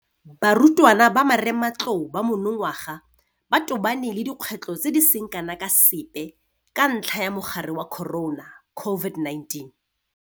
Barutwana ba marematlou ba monongwaga ba tobane le dikgwetlho tse di seng kana ka sepe ka ntlha ya mogare wa corona, COVID-19.